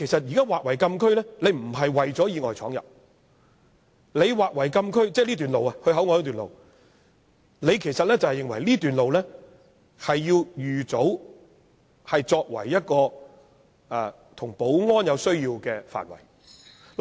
現在把前往口岸的這段路劃為禁區，並非為了防止意外闖入，其實是認為這段路要預早劃為有保安需要的範圍。